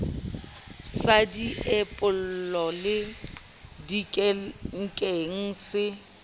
sa diepollo le dikenkeng se